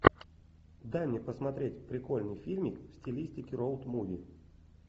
дай мне посмотреть прикольный фильмик в стилистике роуд муви